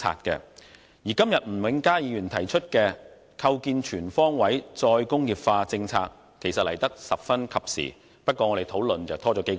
今天吳永嘉議員提出的"構建全方位'再工業化'政策體系"議案來得十分及時；不過，我們的討論則拖延了數個月。